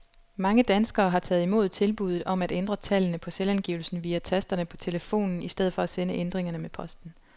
Mange danskere har taget imod tilbuddet om at ændre tallene på selvangivelsen via tasterne på telefonen i stedet for at sende ændringerne med posten.